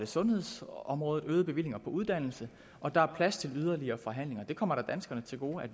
sundhedsområdet øgede bevillinger på uddannelse og der er plads til yderligere forhandlinger at det kommer danskerne til gode